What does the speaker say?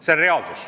See on reaalsus.